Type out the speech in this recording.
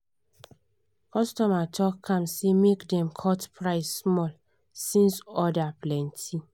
customer talk calm say make dem cut price small since order plenty.